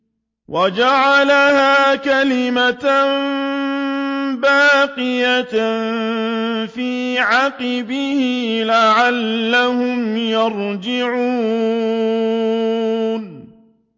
وَجَعَلَهَا كَلِمَةً بَاقِيَةً فِي عَقِبِهِ لَعَلَّهُمْ يَرْجِعُونَ